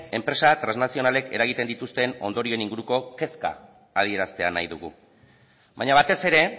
enpresa transnazionalek eragiten dituzten ondorioen inguruko kezka adieraztea nahi dugu baina batez ere